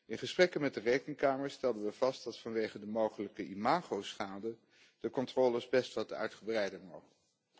In gesprekken met de Rekenkamer stelden we vast dat vanwege de mogelijke imagoschade de controles best wat uitgebreider mogen.